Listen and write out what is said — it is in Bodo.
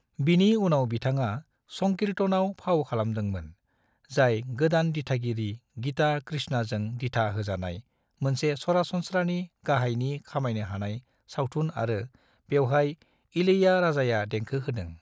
बिनि उनाव बिथाङा संकीर्तन आव फाव खालामदोंमोन, जाय गोदान दिथागिरि गीता कृष्णाजों दिथाथा होजानाय मोनसे सरासनस्रानि गाहायनि खामायनो हानाय सावथुन आरो बेवहाय इलैयाराजाया देंखो होदों।